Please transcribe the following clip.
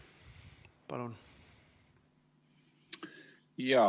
Palun!